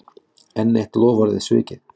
Enn eitt loforðið svikið